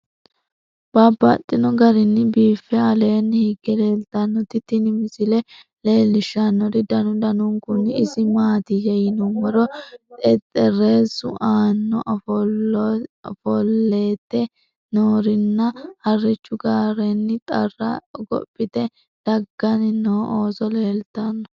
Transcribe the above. Babaxxittinno garinni biiffe aleenni hige leelittannotti tinni misile lelishshanori danu danunkunni isi maattiya yinummoro xexerissu aanna afoollette noori nna , harichchu gaarenni xarra hogophphitte daganni noo ooso leelittanno